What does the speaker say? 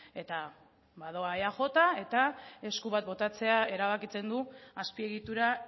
eta badoa eaj eta esku bat botatzea erabakitzen du azpiegitura